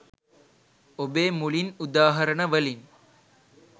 ඔබේ මුලින් උදාහරණවලින්